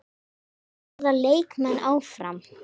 Verða leikmenn áfram?